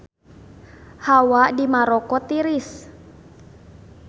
Hawa di Maroko tiris